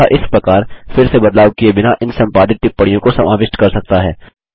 तथा इस प्रकार फिर से बदलाव किये बिना इन संपादित टिप्पणियों को समाविष्ट कर सकता है